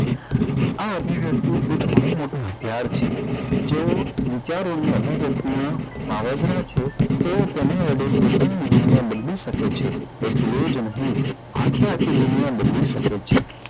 આ અભિવ્યક્તિ એક બહુ મોટું હથિયાર છે જેઓ વિચારો નું અભિવ્યક્તિ નો છે તેઓ તેના વડે પોતાની દુનિયા બદલી શકે છે એટલું જ નહી આખે આખી દુનિયા બદલી શકે છે